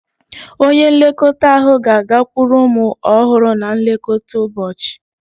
Onye nlekọta ahụ ga-agakwuru ụmụ ọhụrụ na nlekọta ụbọchị.